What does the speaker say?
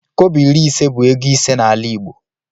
Kobo iri ise bụ ego ise n'ala igbo